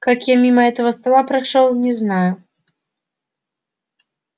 как я мимо этого стола прошёл не знаю